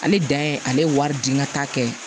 Ale dan ye ale ye wari di n ka taa kɛ